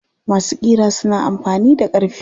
Masu ƙira suna amfani da ƙarfe.